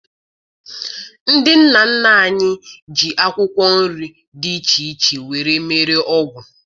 Ndị nna nna anyị ji akwụkwọ nri dị iche iche were mee ọgwụ